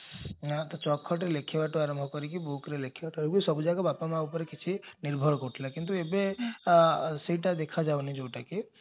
ନାମ ଚକ ଖଡିରେ ଲେଖିବାଠୁ ଆରମ୍ଭ କରିକି bookରେ ଲେଖିବା ବେଳକୁ ସବୁଯାକ ବାପା ମା ଉପରେ କିଛି ନିର୍ଭର କରୁଥିଲା କିନ୍ତୁ ଏବେ ସେଇଟା ଦେଖା ଯାଉନି ଯାଉଟା କି